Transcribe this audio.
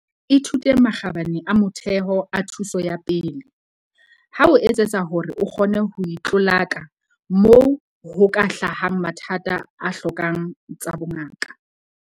Ithute makgabane a motheo a thuso ya pele, ho etsetsa hore o kgone ho itlolaka moo ho ka hlahang mathata a hlokang tsa bongaka.